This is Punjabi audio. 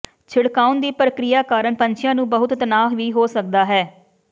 ਛਿੜਕਾਉਣ ਦੀ ਪ੍ਰਕਿਰਿਆ ਕਾਰਨ ਪੰਛੀਆਂ ਨੂੰ ਬਹੁਤ ਤਣਾਅ ਵੀ ਹੋ ਸਕਦਾ ਹੈ